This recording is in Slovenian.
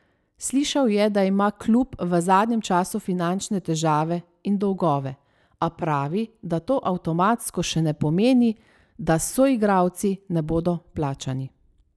Slišal je, da ima klub v zadnjem času finančne težave in dolgove, a pravi, da to avtomatsko še ne pomeni, da s soigralci ne bodo plačani.